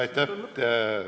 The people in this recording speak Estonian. Aitäh!